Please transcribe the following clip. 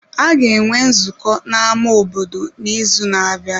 A ga-enwe nzukọ na ámá obodo n'izu na-abịa.